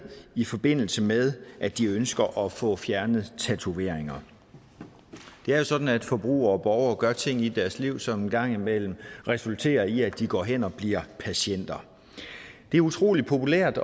i forbindelse med at de ønsker at få fjernet tatoveringer det er jo sådan at forbrugere og borgere gør ting i deres liv som en gang imellem resulterer i at de går hen og bliver patienter det er utrolig populært